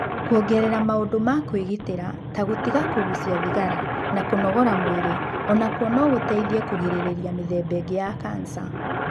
Kũongerera maũndu ma kwĩgitĩra ta gũtiga kũgũcia thigara na kũnogora mwĩrĩ o nakuo no gũteithie kũrigĩrĩria mĩthemba ĩngĩ ya kanca.